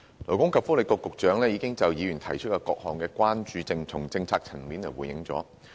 勞工及福利局局長已就議員提出的各項關注從政策層面回應。